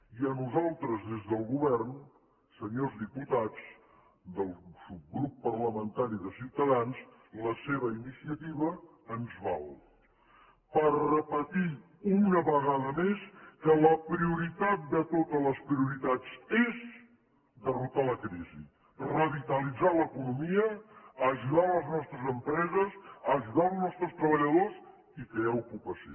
i a nosaltres des del govern senyors diputats del subgrup parlamentari de ciutadans la seva iniciativa ens val per repetir una vegada més que la prioritat de totes les prioritats és derrotar la crisi revitalitzar l’economia ajudar les nostres empreses ajudar els nostres treballadors i crear ocupació